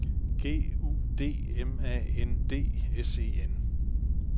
G U D M A N D S E N